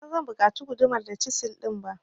Ban san zan buƙaci gudumar da cisil din ba.